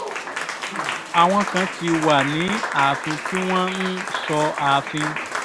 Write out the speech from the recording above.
àwọn kan ti wà ní ààfin tí wọ́n ń sọ ààfin